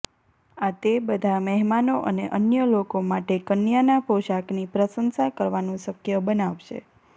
આ તે બધા મહેમાનો અને અન્ય લોકો માટે કન્યાના પોશાકની પ્રશંસા કરવાનું શક્ય બનાવશે